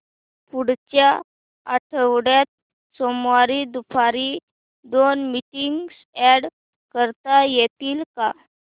पुढच्या आठवड्यात सोमवारी दुपारी दोन मीटिंग्स अॅड करता येतील का